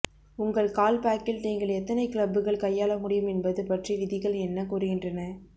உங்கள் கால்ப் பேக்கில் நீங்கள் எத்தனை கிளப்புகள் கையாள முடியும் என்பது பற்றி விதிகள் என்ன கூறுகின்றன